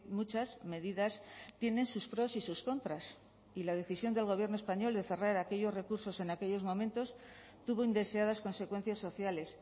muchas medidas tienen sus pros y sus contras y la decisión del gobierno español de cerrar aquellos recursos en aquellos momentos tuvo indeseadas consecuencias sociales